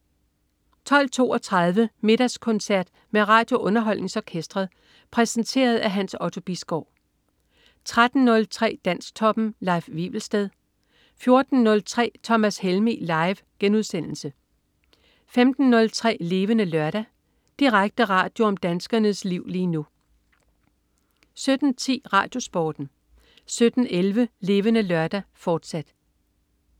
12.32 Middagskoncert med RadioUnderholdningsOrkestret. Præsenteret af Hans Otto Bisgaard 13.03 Dansktoppen. Leif Wivelsted 14.03 Thomas Helmig. Live* 15.03 Levende Lørdag. Direkte radio om danskernes liv lige nu 17.10 RadioSporten 17.11 Levende Lørdag, fortsat